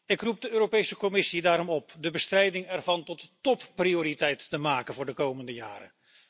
Ik roep de Europese Commissie daarom op de bestrijding ervan tot topprioriteit te maken voor de komende jaren.